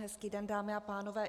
Hezký den, dámy a pánové.